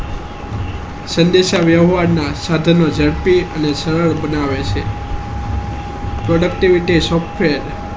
સ્વતંત્ર વ્યવહાર ના ધાત્રી અને સરસ બનાયે છે productivity software